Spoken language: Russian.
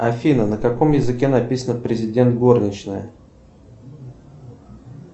афина на каком языке написано президент горничная